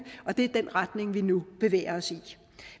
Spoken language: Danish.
og det er den retning vi nu bevæger os i